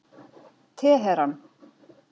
Teheran